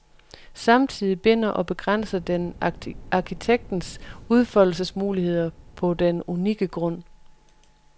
Samtidig binder og begrænser den arkitektens udfoldelsesmuligheder på den unikke grund.